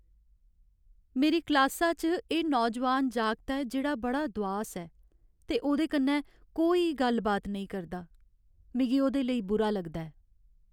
मेरी क्लासा च एह् नौजोआन जागत ऐ जेह्ड़ा बड़ा दुआस ऐ ते ओह्दे कन्नै कोई गल्ल बात नेईं करदा। मिगी ओह्दे लेई बुरा लगदा ऐ।